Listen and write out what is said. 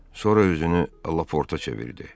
Sonra özünü Laporta çevirdi.